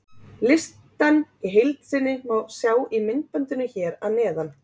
Listann í heild sinni má sjá í myndbandinu hér að neðan.